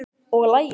Og lagið?